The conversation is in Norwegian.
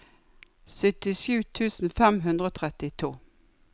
syttisju tusen fem hundre og trettito